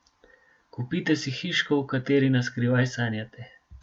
Kupite si hiško, o kateri naskrivaj sanjate!